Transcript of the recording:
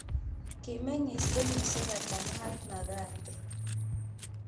Kimeng'iis kenyisiek ata Mahatma Gandhi